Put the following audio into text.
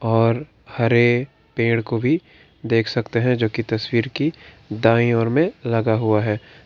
और हरे पेड़ को भी देख सकते हैं जोकि तस्वीर की दाईं और मे लगा हुआ है।